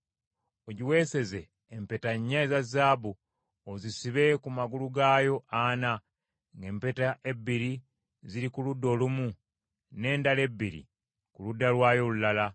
Ogiweeseze empeta nnya eza zaabu ozisibe ku magulu gaayo ana, ng’empeta ebbiri ziri ku ludda olumu, n’endala ebbiri ku ludda lwayo olulala.